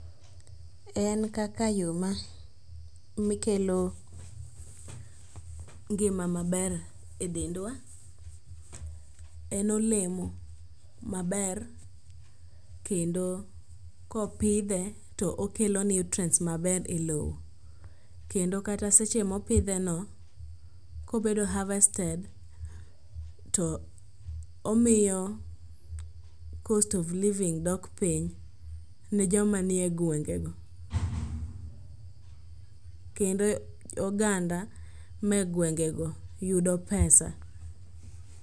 En kaka yo mikelo ngima maber e dendwa. En olemo maber kendo kopidhe, to okelo nutrients maber e lowo. Kendo kata seche mopidheno, kobedo harvested to omiyo cost of living dok piny ne jo manie gwengego. Kendo oganda manie gwengego yudo pesa.